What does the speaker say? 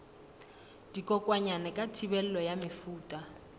dikokwanyana ka thibelo ya mefuta